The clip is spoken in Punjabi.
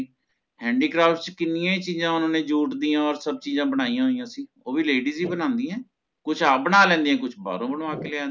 Handycraft ਚ ਕਿੰਨੀਆਂ ਹੀ ਚੀਜ਼ਾਂ ਜੋੜ ਤੀਆਂ ਹੋਰ ਸਭ ਚੀਜ਼ਾਂ ਬਣਾਇਆ ਹੋਇਆ ਉਹ ਵੀ Ladies ਹੀ ਬਣਾਉਂਦੀਆਂ ਕੁਝ ਆਪ ਬਣਾ ਲੈਂਦੀਆਂ ਕੁਝ ਬਾਹਰੋਂ ਬਣਵਾ ਲੈਂਦੀਆਂ